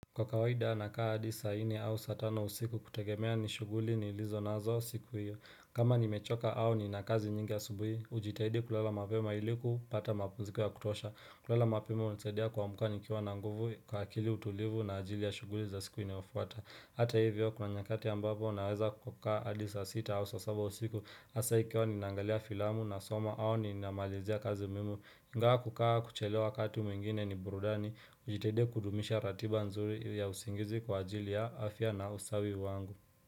Kwa kawaida nakaa hadi saa nne au saa tano usiku kutegemea ni shughuli nilizonazo siku hiyo kama nimechoka au ni na kazi mingi asubuhi hujitahidi kulala mapema iliku pata mapumziko ya kutosha kulala mapema hunisadia kuamka nikiwa na nguvu kwa akili utulivu na ajili ya shughuli za siku inayofuata Hata hivyo kuna nyakati ambapo naweza kukaa hadi saa sita au saa saba usiku hasa ikiwa ninaangalia filamu nasoma au ninamalizia kazi muhimu ingawa kukaa kuchelewa kati mwingine ni burudani hujitahidia kudumisha ratiba nzuri ya usingizi kwa ajili ya afya na usawi wangu.